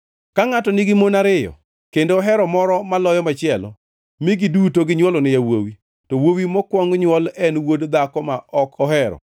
Ka ngʼato nigi mon ariyo, kendo ohero moro maloyo machielo mi giduto ginywolone yawuowi, to wuowi mokwong nywol en wuod dhako ma ok ohero,